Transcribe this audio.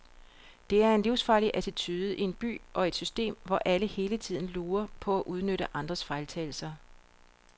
Det er en livsfarlig attitude i en by og et system, hvor alle hele tiden lurer på at udnytte andres fejltagelser.